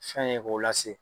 Fɛn ye k'o lase